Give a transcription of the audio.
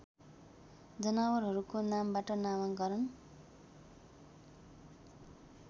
जनावरहरूको नामबाट नामाकरण